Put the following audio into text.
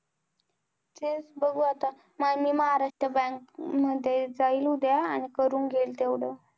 तेच बघु आता माये मी महाराष्ट्र bank मध्ये जाईल उद्या आणि करून घेईल तेवढ